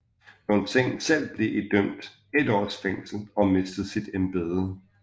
Lornsen selv blev idømt et års fængel og mistede sit embede